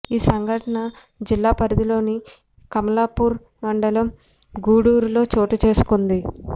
ఈ సంఘటన జిల్లా పరిధిలోని కమలాపూర్ మండలం గూడూరులో చోటు చేసుకుంది